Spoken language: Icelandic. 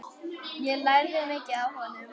Ég lærði mikið af honum.